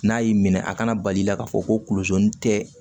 N'a y'i minɛ a kana bali i la k'a fɔ ko tɛ